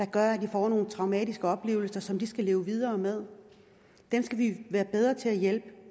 gøre at de får nogle traumatiske oplevelser som de skal leve videre med dem skal vi være bedre til at hjælpe